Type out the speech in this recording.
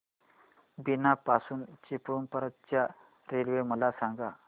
बीना पासून चिपळूण पर्यंत च्या रेल्वे मला सांगा